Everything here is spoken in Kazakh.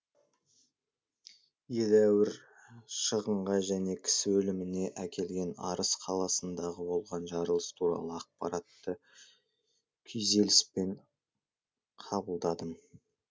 едәуір шығынға және кісі өліміне әкелген арыс қаласындағы болған жарылыс туралы ақпаратты күйзеліспен қабылдадым